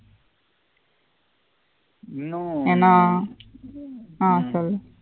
இன்னும் ஆஹ் சொல்லு